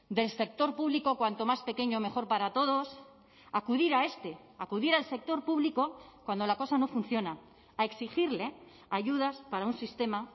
del sector público cuanto más pequeño mejor para todos acudir a este acudir al sector público cuando la cosa no funciona a exigirle ayudas para un sistema